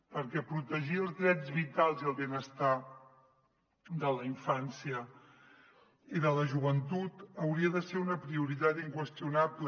perquè protegir els drets vitals i el benestar de la infància i de la joventut hauria de ser una prioritat inqüestionable